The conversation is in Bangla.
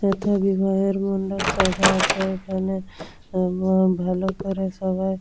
এতে বিবাহের মণ্ডপ সাজা আছে এখানে ভালো করে সবাই--